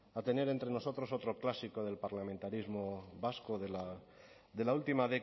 a tener entre nosotros otro clásico del parlamentarismo vasco de la última